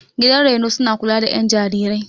Gidan raino suna kula da ƴan jarirai.